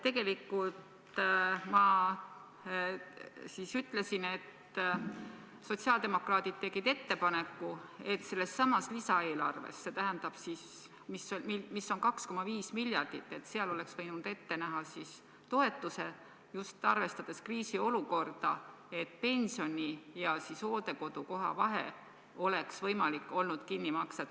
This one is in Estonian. Tegelikult ma ütlesin, et sotsiaaldemokraadid tegid ettepaneku, et sellessamas lisaeelarves, mis on 2,5 miljardit, oleks võinud ette näha toetuse, just arvestades kriisiolukorda, et pensioni ja hooldekodukoha vahe oleks võimalik olnud kinni maksta.